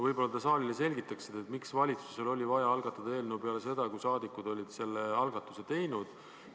Võib-olla te selgitate saalile, miks oli valitsusel vaja algatada eelnõu veel peale seda, kui rahvasaadikud olid juba sellise algatuse teinud.